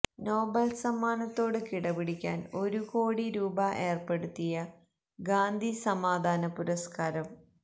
Nobel സമ്മാനത്തോട് കിടപിടിക്കാൻ ഒരു കോടി രൂപ ഏർപ്പെടുത്തിയ ഗാന്ധി സമാധാന പുരസ്ക്കാരം